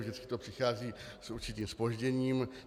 Vždycky to přichází s určitým zpožděním.